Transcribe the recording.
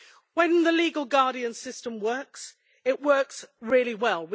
When the legal guardian system works, it works really well.